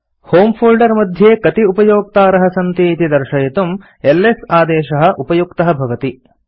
होमे फोल्डर मध्ये कति उपयोक्तारः सन्ति इति दर्शयितुम् एलएस आदेशः उपयुक्तः भवति